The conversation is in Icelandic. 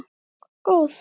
Þorbjörn: Góð?